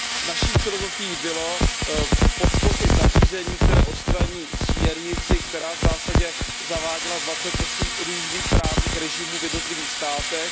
Naší filozofií bylo podpořit nařízení, které odstraní směrnici, která v zásadě zaváděla dvacet osm různých právních režimů v jednotlivých státech.